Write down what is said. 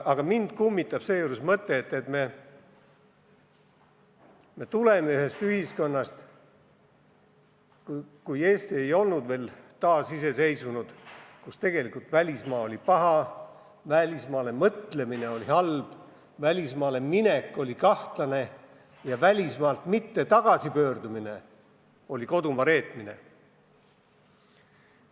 Mind kummitab seejuures mõte, et me tuleme ühest ühiskonnast, ajast, kui Eesti ei olnud veel taasiseseisvunud, kus välismaa oli paha, välismaa peale mõtlemine oli halb, välismaale minek oli kahtlane ja välismaalt mitte tagasi pöördumine oli kodumaa reetmine.